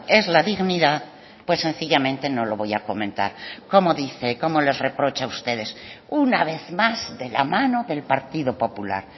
es la dignidad pues sencillamente no lo voy a comentar cómo dice cómo les reprocha ustedes una vez más de la mano del partido popular